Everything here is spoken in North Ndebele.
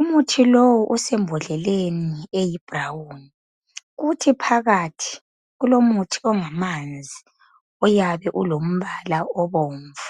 Umuthi lowu usembodleleni eyi brown. Uthi phakathi kulomuthi ongamanzi oyabe ulombala obomvu.